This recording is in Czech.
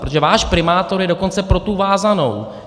Protože váš primátor je dokonce pro tu vázanou.